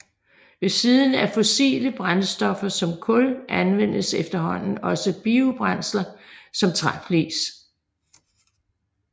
Ved siden af fossile brændstoffer som kul anvendes efterhånden også biobrændsler som træflis